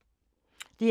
DR K